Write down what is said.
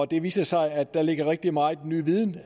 det viser sig at der ligger rigtig meget ny viden